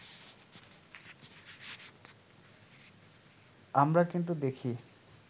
আমরা কিন্তু দেখি